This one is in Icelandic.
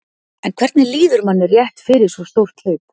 En hvernig líður manni rétt fyrir svo stórt hlaup?